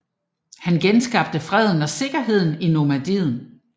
Han genskabte freden og sikkerheden i Normandiet